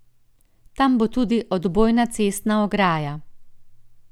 Tam bo tudi odbojna cestna ograja.